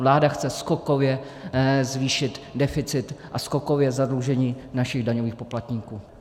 Vláda chce skokově zvýšit deficit a skokově zadlužení našich daňových poplatníků.